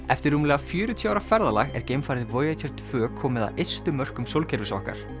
eftir rúmlega fjörutíu ára ferðalag er geimfarið Voyager tvö komið að ystu mörkum sólkerfis okkar